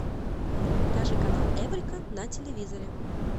покажи канал эврика на телевизоре